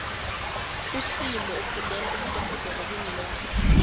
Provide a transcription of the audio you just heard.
usimo ufundela ubudorhodere beenlwane